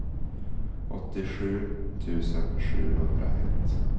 åttiosju tusen sjuhundraett